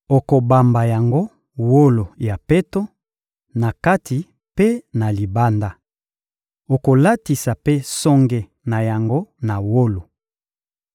Okobamba yango wolo ya peto, na kati mpe na libanda. Okolatisa mpe songe na yango na wolo.